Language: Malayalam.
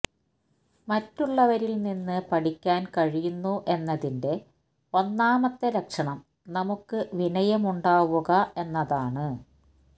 മറ്റുള്ളവരില്നിന്ന് പഠിക്കാന് കഴിയുന്നു എന്നതിന്റെ ഒന്നാമത്തെ ലക്ഷണം നമുക്ക് വിനയമുണ്ടാവുക എന്നതാണ്